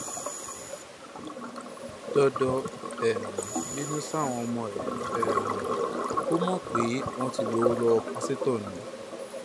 dọdọ um bínú sáwọn ọmọ ẹ um ò mọ pé wọn ti gbowó lọwọ pásítọ ni